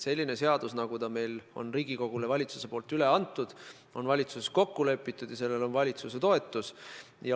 Selline eelnõu, nagu ta on Riigikogule üle antud, on valitsuses kokku lepitud ja sellel on valitsuse toetus.